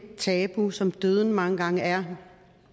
tabu som døden mange gange er